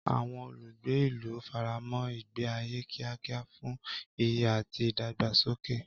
Àwọn olùgbé ìlú faramọ́ ìgbé ayé kíákíá fún ìyè àti ìdàgbàsókè.